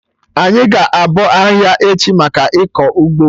Anyị ga-abọ ahihia echi, maka ịkọ ụgbọ